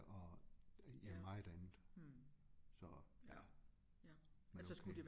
Og ja meget andet så ja men okay